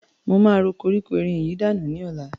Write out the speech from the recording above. Mo máa ro koríko erin yìí danù lọ́la.